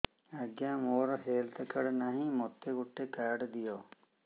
ଆଜ୍ଞା ମୋର health card ନାହିଁ ମୋତେ ଗୋଟେ କାର୍ଡ ଦିଅ